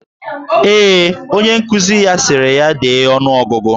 Ee, onye nkuzi ya sịrị ya dee ọnụogụgụ.